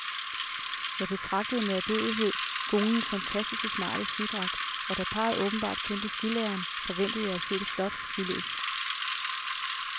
Jeg betragtede med ærbødighed konens fantastisk smarte skidragt, og da parret åbenbart kendte skilæreren, forventede jeg at se et flot skiløb.